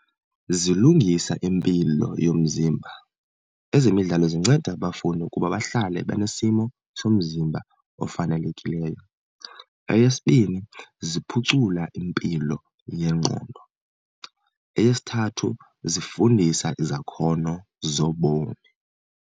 Zilungisa impilo yomzimba, ezemidlalo zinceda abafundi ukuba bahlale benesimo somzimba ofanelekileyo. Eyesibini, ziphucula impilo yengqondo. Eyesithathu, zifundisa izakhono zobomi.